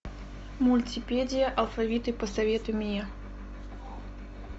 мультипедия алфавиты посоветуй мне